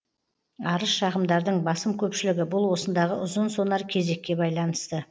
арыз шағымдардың басым көпшілігі бұл осындағы ұзын сонар кезекке байланысты